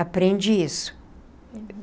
Aprende isso.